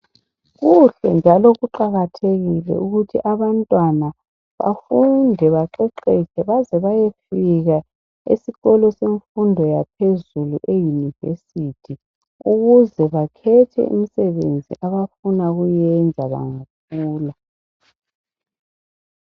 Kuhle njalo kuqakathekile ukuthi abantwana bafunde baqeqetshe beze bayefika esikolo semfundo yaphezulu e Yunivesithi, ukuze bakhethe imsebenzi abafuna ukuyenza bangakhula.